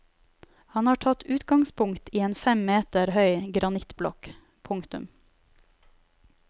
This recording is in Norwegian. Han har tatt utgangspunkt i en fem meter høy granittblokk. punktum